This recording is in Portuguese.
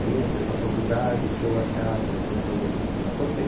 Aí entrei para a faculdade, show arcadas, aquela coisa toda que eu já contei.